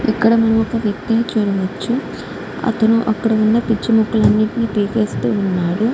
ఇక్కడ మనం ఒక వ్యక్తి ని చూడవచ్చు అతను అక్కడ ఉన్న పిచ్చి మొక్కలన్ని తీసేస్తూ ఉన్నారు.